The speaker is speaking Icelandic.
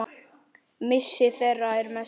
Missir þeirra er mestur.